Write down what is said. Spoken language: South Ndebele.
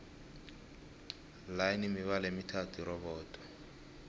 line mibala emithathu irobodo